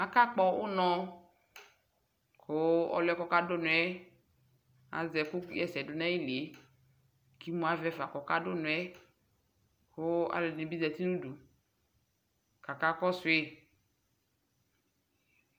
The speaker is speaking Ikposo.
akakpɔ unɔ kʊ ɔlʊ yɛ kʊ ɔkadʊ unɔ yɛ azɛ ɛkʊ ɣa ɛsɛdʊ nʊ ayili yɛ, kʊ imu avɛ fa kʊ ɔkadʊ unɔ yɛ, kʊ alʊɛdɩnɩ bɩ zatin nʊ udu, kʊ akakɔsu yi